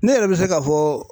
Ne yɛrɛ bi se ka fɔ